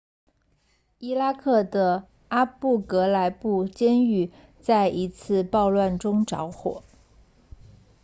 伊拉克的阿布格莱布监狱在一次暴乱中着火